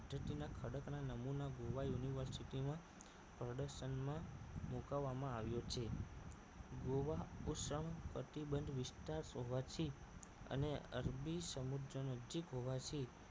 નમુના ગોવા યુનિવર્સિટીમાં પ્રદર્શનમાં મુકાવવામાં આવ્યો છે ગોવા ઉષ્ણ કટિબંધ વિસ્તાર હોવાથી અને અરબી સમુદ્ર નજીક હોવાથી